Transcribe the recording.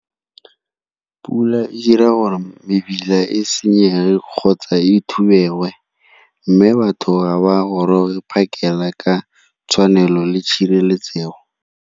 Pula e dira gore mebila e senyege kgotsa e , mme batho ga ba goroge phakela ka tshwanelo le tshireletsego.